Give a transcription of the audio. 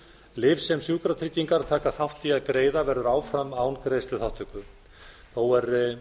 lyf sem sjúkratryggingar taka ekki þátt í að greiða verður áfram án greiðsluþátttöku þó